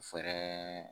Fɛrɛ